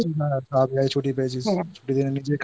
এই ছুটি পেয়েছিস